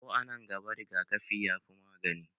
Ko a nan gaba, rigakafi ya fi magani